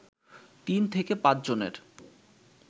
তিন থেকে পাঁচ জনের